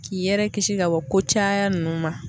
K'i yɛrɛ kisi ka bɔ ko caya ninnu ma.